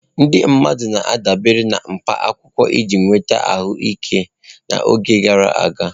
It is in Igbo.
Ndị mmadụ na-adabere na mkpa akwụkwọ iji nweta ahụike n'oge gara aga.